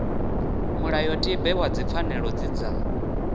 mulayotibe wa dzipfanelo dzi dza